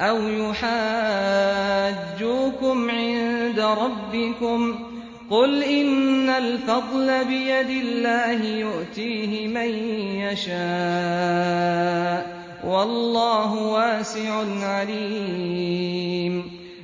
أَوْ يُحَاجُّوكُمْ عِندَ رَبِّكُمْ ۗ قُلْ إِنَّ الْفَضْلَ بِيَدِ اللَّهِ يُؤْتِيهِ مَن يَشَاءُ ۗ وَاللَّهُ وَاسِعٌ عَلِيمٌ